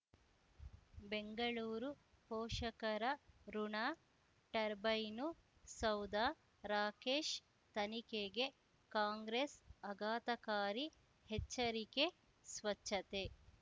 ಬೆಂಗಳೂರು ಪೋಷಕರಋಣ ಟರ್ಬೈನು ಸೌಧ ರಾಕೇಶ್ ತನಿಖೆಗೆ ಕಾಂಗ್ರೆಸ್ ಆಘಾತಕಾರಿ ಎಚ್ಚರಿಕೆ ಸ್ವಚ್ಛತೆ